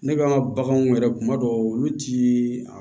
Ne ka baganw yɛrɛ kuma dɔw olu ti a